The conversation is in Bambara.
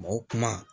Mɔgɔ kuma